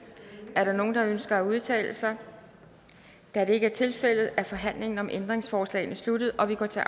er der nogen der ønsker at udtale sig da det ikke er tilfældet er forhandlingen om ændringsforslagene sluttet og vi går til